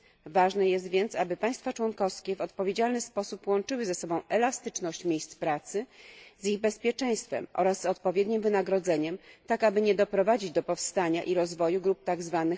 Ważne jest więc, aby państwa członkowskie w odpowiedzialny sposób łączyły ze sobą elastyczność miejsc pracy z ich bezpieczeństwem oraz z odpowiednim wynagrodzeniem, tak aby nie doprowadzić do powstania i rozwoju grup tzw.